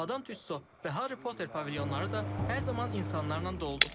Madam Tüsso və Harry Potter pavilyonları da hər zaman insanlarla doludu.